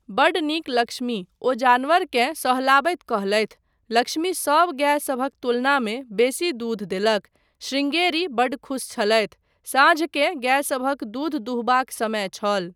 बड्ड नीक लक्ष्मी, ओ जानवरकेँ सहलाबैत कहलथि। लक्ष्मी सब गायसभक तुलनामे बेसी दूध देलक। शृंगेरी बड्ड खुश छलथि। साँझकेँ गायसभक दूध दुहबाक समय छल।